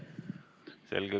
Selge.